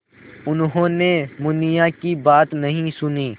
उन्होंने मुनिया की बात नहीं सुनी